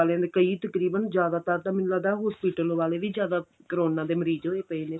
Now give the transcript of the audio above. ਵਾਲੇ ਕਈ ਤਕਰੀਬਨ ਜ਼ਿਆਦਾਤਰ ਤਾਂ ਮੈਨੂੰ ਲੱਗਦਾ hospital ਵੀ ਜ਼ਿਆਦਾ ਕਰੋਨਾ ਦੇ ਮਰੀਜ਼ ਹੋਏ ਪਏ ਨੇ